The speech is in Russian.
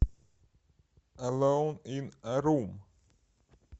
элоун ин э рум